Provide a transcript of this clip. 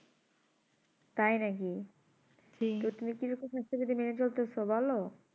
তাই নাকি তো তুমি কি কিছু সাস্থবিধি মেনে চলতেছো বলো